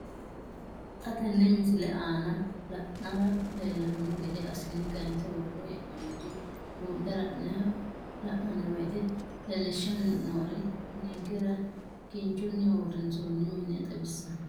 Xa tenne missile aana la'nara leellanno gede assine kayiinse worre hee'noonniri buunxe la'nanni woyiite leellishshanni noori ninkera kinchunni uurrinsoonni mine xawissanno.